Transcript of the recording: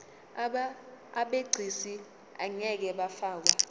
abegcis ngeke bafakwa